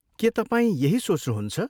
के तपाईँ यही सोच्नहुन्छ?